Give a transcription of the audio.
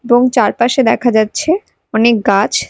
এবং চারপাশে দেখা যাচ্ছে অনেক গাছ।